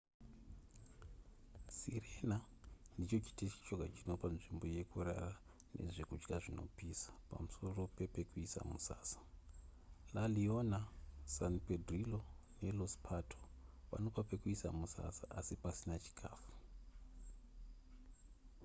sirena ndicho chiteshi choga chinopa nzvimbo yekurara nezvekudya zvinopisa pamusoro pepekuisa musasa la leona san pedrillo ne los pato vanopa pekuisa musasa asi pasina chikafu